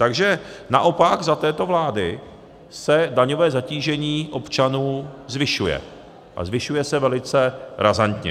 Takže naopak za této vlády se daňové zatížení občanů zvyšuje, a zvyšuje se velice razantně.